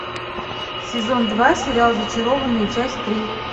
сезон два сериал зачарованные часть три